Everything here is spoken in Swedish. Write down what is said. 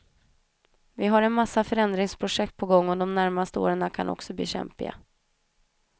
Vi har en massa förändringsprojekt på gång och de närmaste åren kan också bli kämpiga.